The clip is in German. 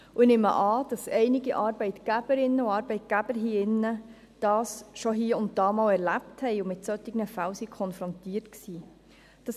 Ich nehme an, dass einige Arbeitgeberinnen und Arbeitgeber hier drin dies schon hie und da erlebt haben und mit solchen Fällen konfrontiert waren.